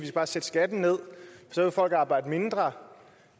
skal sætte skatten ned så vil folk arbejde mindre